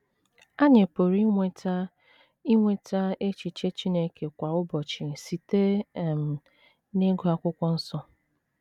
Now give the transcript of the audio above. Anyị pụrụ inweta inweta echiche Chineke kwa ụbọchị site um n’ịgụ Akwụkwọ Nsọ.